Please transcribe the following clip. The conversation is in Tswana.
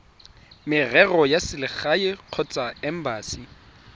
merero ya selegae kgotsa embasi